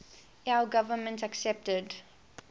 lao government accepted